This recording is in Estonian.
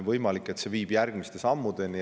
Võimalik, et see viib järgmiste sammudeni.